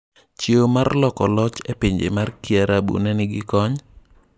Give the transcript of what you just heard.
Chiewo mar loko loch epinje mar kiarabu ne nigi kony?